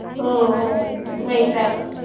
हो वैताग